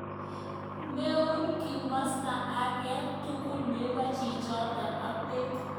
Meun kimosta age tugul nebo chichitok ak bek.